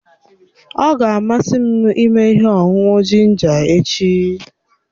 Ọ ga-amasị m ịme ihe ọṅụṅụ jinja echi.